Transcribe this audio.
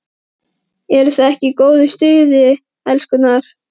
ERUÐ ÞIÐ EKKI Í GÓÐU STUÐI, ELSKURNAR!